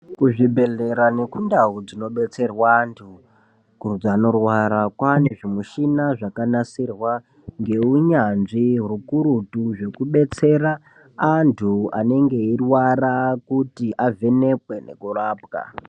Kuzvibhedhlera nekundawo dzinobetserwa antu anorwara kwane zvimuchina zvakanasirwa ngeunyanzvi rukurutu zvekubetsera antu anenge eyirwara kuti avhenekwe nekurapwa.